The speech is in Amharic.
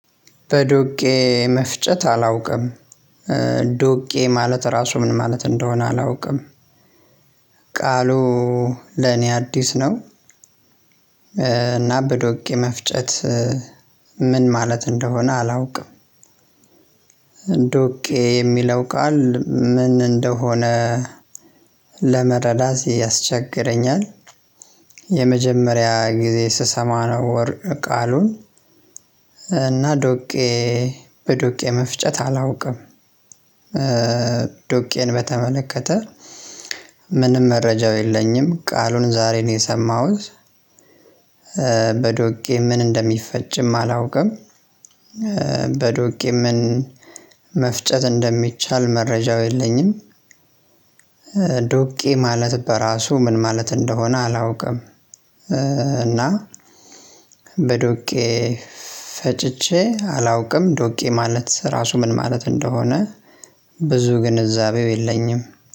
በዶቄ መፍጨት አላውቅም። ዶቄ ማለት ራሱ ምን ማለት እንደሆነ አላውቅም። ቃሉ ለኔ አዲስ ነው። እና በዶቄ መፍጨት ምን ማለት እንደሆነ አላውቅም። እንደውቄ የሚለው ቃል ምን እንደሆነ ለመረዳት ያስቸግረኛል። የመጀመሪያ ጊዜ ስሰማ ነው ወር ቃሉን። እና ዶቄ በዶቄ መፍጨት አላውቅም። ዶቄን በተመለከተ መረጃው የለኝም፣ ቃሉን ዛሬ ነው የሰማሁት፣ በዶቄ ምን እንደሚፈጭም አላውቅም፣ በዶቄ ምን መፍጨት እንደሚቻል መረጃው የለኝም። ዶቄ ማለት በራሱ ምን ማለት እንደሆነ አላውቅም። እና በዶቄ ፈጭቼ አላውቅም። ዶቄ ማለት ራሱ ምን ማለት እንደሆነ ብዙ ግንዛቤው የለኝም።